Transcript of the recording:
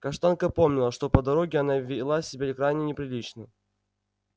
каштанка помнила что по дороге она вела себя крайне неприлично